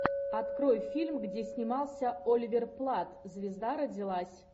открой фильм где снимался оливер платт звезда родилась